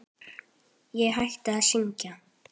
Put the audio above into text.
Ég hætti að syngja.